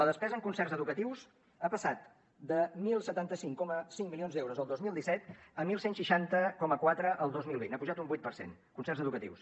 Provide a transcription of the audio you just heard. la despesa en concerts educatius ha passat de deu setanta cinc coma cinc milions d’euros el dos mil disset a onze seixanta coma quatre el dos mil vint ha pujat un vuit per cent concerts educatius